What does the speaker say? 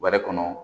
Bɔrɛ kɔnɔ